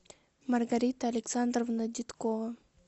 маргарита александровна деткова